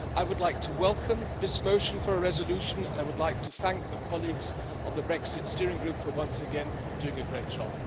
I would like to welcome this motion for a resolution and I would like to thank our colleagues in the Brexit Steering Group for once again doing a great job.